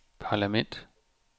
parlament